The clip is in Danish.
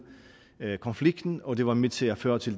konflikten og var med til at føre til